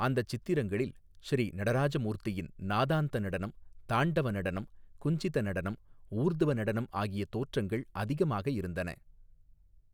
அந்தச் சித்திரங்களில் ஸ்ரீநடராஜ மூர்த்தியின் நாதாந்த நடனம் தாண்டவ நடனம் குஞ்சித நடனம் ஊர்த்வ நடனம் ஆகிய தோற்றங்கள் அதிகமாக இருந்தன.